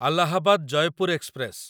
Allahabad Jaipur express